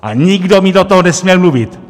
A nikdo mi do toho nesměl mluvit!